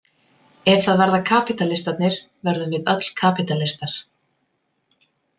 Ef það verða kapítalistarnir verðum við öll kapítalistar.